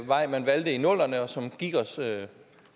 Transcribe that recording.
vej man valgte i nullerne og som det gik os